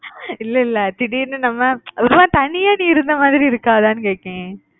இல்லை இல்லை திடீர்னு நம்ம ஒரு மாறி தனியா நீ இருந்த மாதிரி இருக்காதானு கேட்டேன்